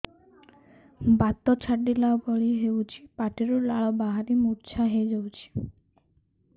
ବାତ ଛାଟିଲା ଭଳି ହଉଚି ପାଟିରୁ ଲାଳ ବାହାରି ମୁର୍ଚ୍ଛା ହେଇଯାଉଛି